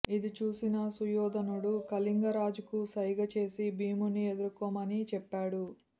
ఇది చూసిన సుయోధనుడు కళింగ రాజుకు సైగ చేసి భీముని ఎదుర్కొనమని చెప్పాడు